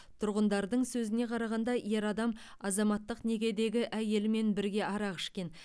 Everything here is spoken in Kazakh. тұрғындардың сөзіне қарағанда ер адам азаматтық некедегі әйелімен бірге арақ ішкен